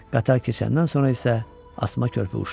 Qatar keçəndən sonra isə asma körpü uçdu.